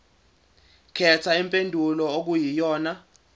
khetha impendulo okuyiyona